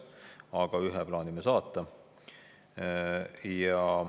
Aga ühe plaanime saata.